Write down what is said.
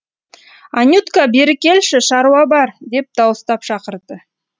анютка бері келші шаруа бар деп дауыстап шақырды